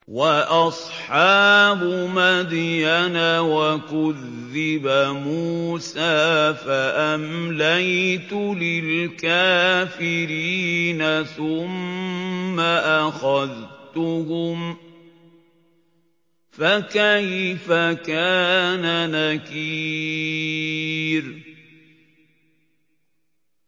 وَأَصْحَابُ مَدْيَنَ ۖ وَكُذِّبَ مُوسَىٰ فَأَمْلَيْتُ لِلْكَافِرِينَ ثُمَّ أَخَذْتُهُمْ ۖ فَكَيْفَ كَانَ نَكِيرِ